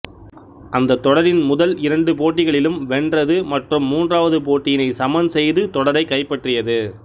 அந்தத் தொடரின் முதல் இரண்டு போட்டிகளிலும் வென்றது மற்றும் மூன்றாவது போட்டியினை சமன் செய்து தொடரைக் கைப்பற்றியது